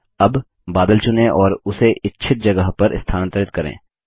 अब बादल चुनें और उसे इच्छित जगह पर स्थानांतरित करें